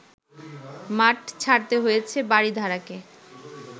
মাঠ ছাড়তে হয়েছে বারিধারাকে